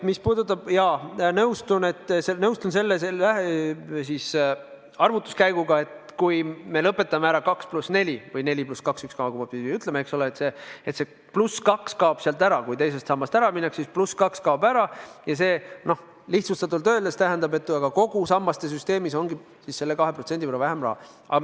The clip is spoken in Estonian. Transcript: Jaa, ma nõustun selle arvutuskäiguga, et kui me lõpetame ära 2 + 4 või 4 + 2 – ükskõik, mispidi me ütleme – skeemi, kui see +2 kaob sealt ära, kui teisest sambast ära minnakse, siis see lihtsustatult öeldes tähendab, et kogu sammaste süsteemis ongi selle 2% võrra vähem raha.